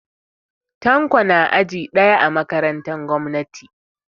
Tanko na aji ɗaya a makarantan gwamnati